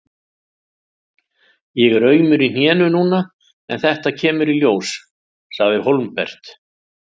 Ég er aumur í hnénu núna en þetta kemur í ljós, sagði Hólmbert.